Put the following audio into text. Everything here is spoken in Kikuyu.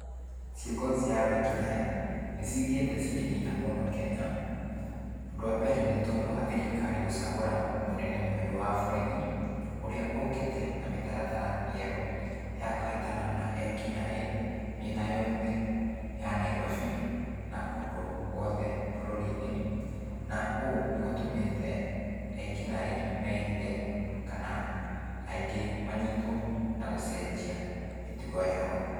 Ciĩko cia wĩkinaĩ, nĩcithiĩte cikĩnyiha mũno Kenya. Ũndũ wa mbere nĩ tondũ wa thirikari gũcagũra mũnene mũerũ wa borithi, ũrĩa ũkĩte na mĩtaratara mĩerũ ya kũhĩtana na ekinaĩ, mĩena yothe ya Nairobi na kũndũ guothe bũrũri-inĩ. Na ũũ nĩgũtũmĩte ekinaĩ mehithe, kana aingĩ manyitũo na gũcenjia mĩtugo yao.